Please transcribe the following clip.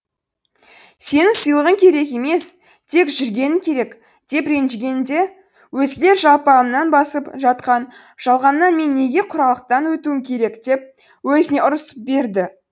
сенің сыйлығың керек емес тек жүргенің керек деп ренжігенде өзгелер жалпағынан басып жатқан жалғаннан мен неге құралақтан өтуім керек деп өзіне ұрысып берді